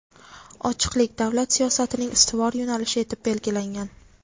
ochiqlik – davlat siyosatining ustuvor yo‘nalishi etib belgilangan.